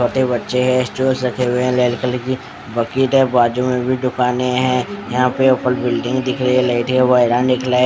छोटे बच्चे है स्ट्रॉस रखे हुए है रेड कलर की बकेट है बाजू में भी दुकाने है यहाँ पे ऊपर बिल्डिंग दिख रही है लेते वाइरा निकला है ।